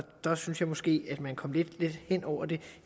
der synes jeg måske at man kom lidt let hen over det